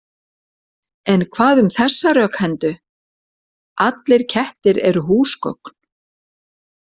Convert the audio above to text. En hvað um þessa rökhendu: Allir kettir eru húsgögn